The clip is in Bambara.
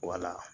Wala